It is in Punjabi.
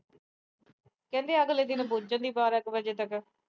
ਕਹਿੰਦੀ ਅਗਲੇ ਦਿਨ ਪੁੱਜਦੀ ਬਾਰਾਂ ਕ ਵਜੇ ਤੱਕ।